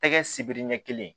Tɛgɛ sibiri ɲɛ kelen